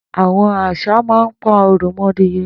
Àwọn àṣá mà n pà awọn òròmọdìẹ